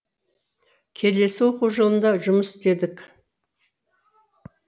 келесі оқу жылында жұмыс істедік